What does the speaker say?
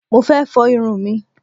Mo fẹ́ fọ irun mi.